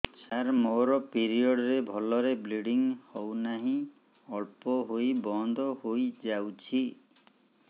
ସାର ମୋର ପିରିଅଡ଼ ରେ ଭଲରେ ବ୍ଲିଡ଼ିଙ୍ଗ ହଉନାହିଁ ଅଳ୍ପ ହୋଇ ବନ୍ଦ ହୋଇଯାଉଛି